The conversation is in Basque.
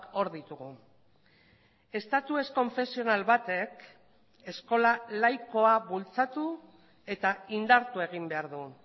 hor ditugu estatu ez konfesional batek eskola laikoa bultzatu eta indartu egin behar du